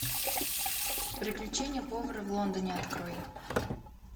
приключения повара в лондоне открой